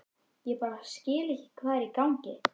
Ég bara skil ekki hvað er í gangi.